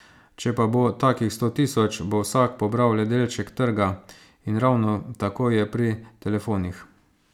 Če pa bo takih sto tisoč, bo vsak pobral le delček trga, in ravno tako je pri telefonih.